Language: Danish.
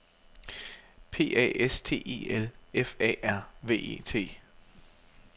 P A S T E L F A R V E T